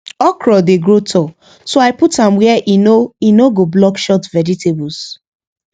okra dey grow tall so i put am where e no e no go block short vegetables